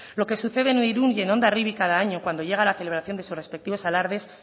lo que sucede en irún y el hondarribia cada año cuando llega la celebración de sus respectivos alardes